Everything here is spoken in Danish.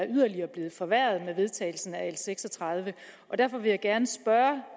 yderligere er blevet forværret med vedtagelsen af l seks og tredive og derfor vil jeg gerne spørge